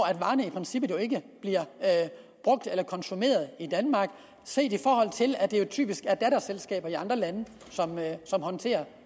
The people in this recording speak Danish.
princippet ikke bliver brugt eller konsumeret i danmark set i forhold til at det jo typisk er datterselskaber i andre lande som håndterer